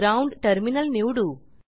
ground terminal निवडू